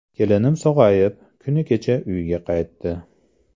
Kelinim sog‘ayib, kuni kecha uyga qaytdi.